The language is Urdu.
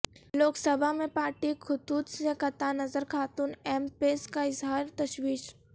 لوک سبھا میں پارٹی خطوط سے قطع نظر خاتون ایم پیز کا اظہار تشویش